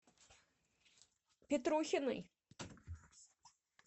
петрухиной